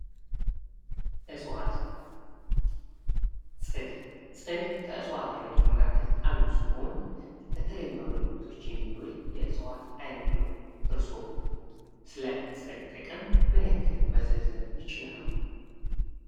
ዕፅዋት ፅድ ፅድ ከዕፅጽዋት አይነቶች መካከል አንዱ ሲሆን ለተለዩ አገልግሎቶች የሚውል የዕፅዋት አይነት ነው። እርስዎ ስለ ፅድ ጥቅም ምን ያክል መዘርዘር ይችላሉ?